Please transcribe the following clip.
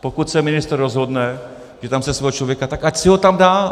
Pokud se ministr rozhodne, že tam chce svého člověka, tak ať si ho tam dá.